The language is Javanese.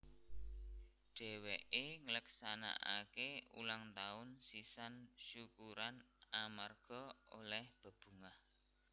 Dhèwèké ngleksanakaké ulang taun sisan syukuran amarga olèh bebungah